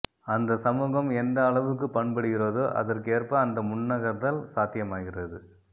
அந்தச் சமூகம் எந்த அளவுக்குப் பண்படுகிறதோ அதற்கேற்ப அந்த முன்னகர்தல் சாத்தியமாகிறது